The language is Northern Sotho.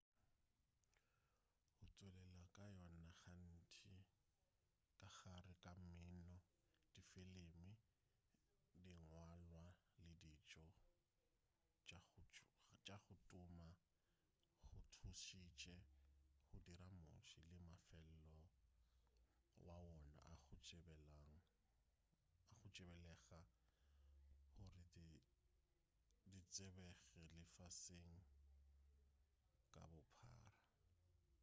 go tšwelela ga yona gantši ka gare ga mmino difilimi dingwalwa le ditšo tša go tuma go thušitše go dira motse le mafelo a wona a go tsebalega gore di tsebege lefaseng ka bophara